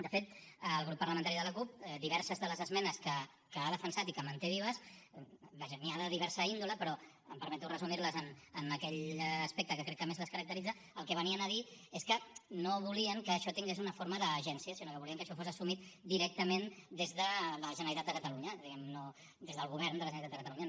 de fet el grup parlamentari de la cup diverses de les esmenes que ha defensat i que manté vives vaja n’hi ha de diversa índole però em permeto resumir les en aquell aspecte que crec que més les caracteritza el que venien a dir és que no volien que això tingués una forma d’agència sinó que volien que això fos assumit directament des de la generalitat de catalunya diguem ne des del govern de la generalitat de catalunya